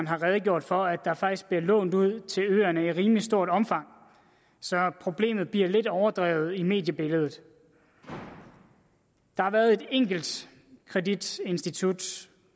har redegjort for at der faktisk bliver lånt ud til øerne i rimelig stort omfang så problemet bliver lidt overdrevet i mediebilledet der har været et enkelt kreditinstitut